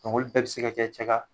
Ɔkɔl bɛɛ be se ka kɛ cɛ ka